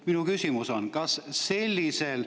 Minu küsimus on selline.